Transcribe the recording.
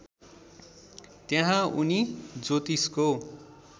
त्यहाँ उनी ज्योतिषको